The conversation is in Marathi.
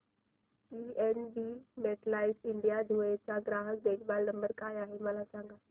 पीएनबी मेटलाइफ इंडिया धुळे चा ग्राहक देखभाल नंबर काय आहे मला सांगा